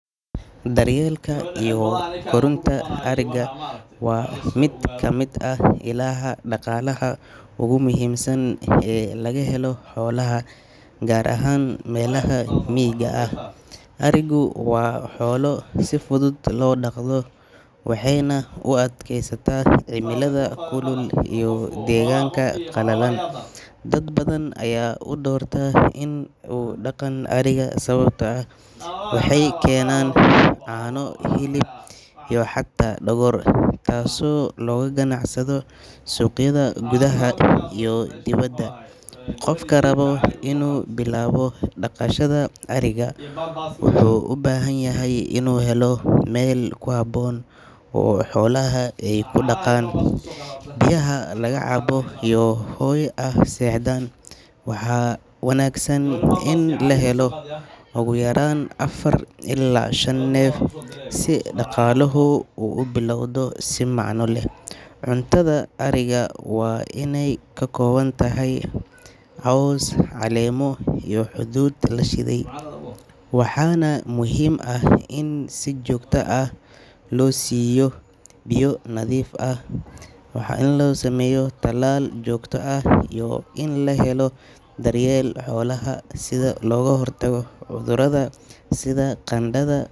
Daryeelka iyo korinta ariga waa mid ka mid ah ilaha dhaqaalaha ugu muhiimsan ee laga helo xoolaha, gaar ahaan meelaha miyiga ah. Arigu waa xoolo si fudud loo dhaqdo waxayna u adkaysataa cimilada kulul iyo deegaanka qalalan. Dad badan ayaa u doorta in ay dhaqaan ariga sababtoo ah waxay keenaan caano, hilib iyo xataa dhogor, taasoo looga ganacsado suuqyada gudaha iyo dibadda. Qofka raba inuu bilaabo dhaqashada ariga wuxuu u baahan yahay inuu helo meel ku habboon oo xoolaha ay ku daaqaan, biyaha laga cabo iyo hoy ay seexdaan. Waxaa wanaagsan in la helo ugu yaraan afar ilaa shan neef si dhaqaaluhu u bilowdo si macno leh. Cuntada ariga waa inay ka kooban tahay caws, caleemo iyo hadhuudh la shiiday, waxaana muhiim ah in si joogto ah loo siiyo biyo nadiif ah. Waa muhiim in la sameeyo tallaal joogto ah iyo in la helo daryeel xoolaha ah si looga hortago cudurada sida qandhada.